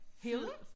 Herude?